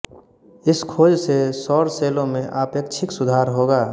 इस खोज से सौर सेलों में आपेक्षिक सुधार होगा